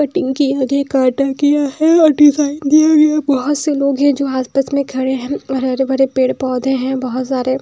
Cutting के आगे काटा गया है और डिज़ाइन दिया गया बहुत से लोग हैं जो आसपास में खड़े हैं और हरे भरे पेड़ पौधे हैं बहुत सारे।